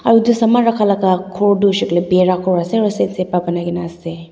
aro edu saman rakhalaka tu hoishey koilae bhaera ghor ase aro side side pra banaikaena ase.